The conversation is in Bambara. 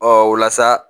Ɔ o la sa